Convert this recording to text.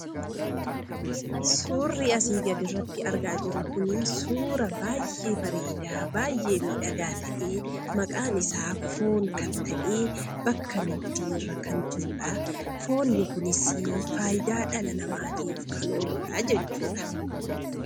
Suurri asii gaditti argaa jirru kunii suuraa baayyee bareedaa, baayyee miidhagaa ta'ee, maqaan isaa foon kan ta'e e bakka nidgiirra kan jirudhaa, foonni kunisii faayidaa dhala namaatiif kan ooludhaa jechuudha.